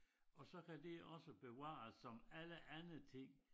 Og så kan det også bevares som alle andre ting